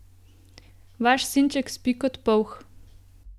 Vaš sinček spi kot polh.